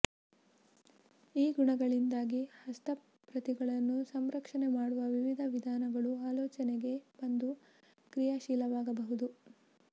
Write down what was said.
ಈ ಗುಣಗಳಿದ್ದಾಗ ಹಸ್ತಪ್ರತಿಗಳನ್ನು ಸಂರಕ್ಷಣೆ ಮಾಡುವ ವಿವಿಧ ವಿಧಾನಗಳು ಆಲೋಚನೆಗೆ ಬಂದು ಕ್ರಿಯಶೀಲರಾಗಬಹುದು